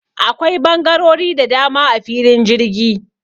Akwai bangarori da dama a filin jirgi.